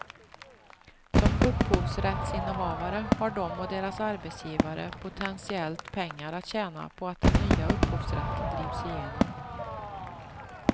Som upphovsrättsinnehavare har de och deras arbetsgivare potentiellt pengar att tjäna på att den nya upphovsrätten drivs igenom.